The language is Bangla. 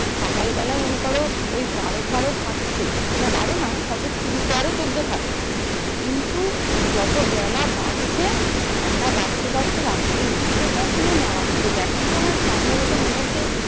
সকাল বেলা মনে করো ওই বারো ফারো থাকছে। না বারো না হয়তো মানে তেরো চোদ্দো থাকছে। কিন্তু মানে যত বেলা বাড়ছে ঠান্ডা বাড়তে বাড়তে রাত্রের দিকে তো মারাত্মক এখন তো আমার সম্ভবত মনে হচ্ছে,